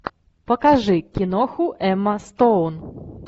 покажи киноху эмма стоун